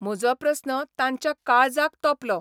म्हजो प्रस्न तांच्या काळजाक तोपलो.